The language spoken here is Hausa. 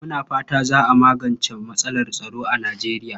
Muna fata za a magance matsalar tsaro a Nijeriya.